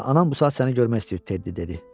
Onsuz da anam bu saat səni görmək istəyir, Tedi dedi.